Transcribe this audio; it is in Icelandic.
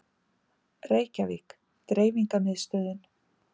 Reykjavík: Dreifingarmiðstöðin.